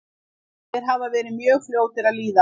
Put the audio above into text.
Þeir hafa verið mjög fljótir að líða.